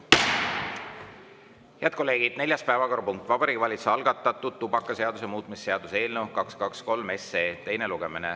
Head kolleegid, neljas päevakorrapunkt: Vabariigi Valitsuse algatatud tubakaseaduse muutmise seaduse eelnõu 223 teine lugemine.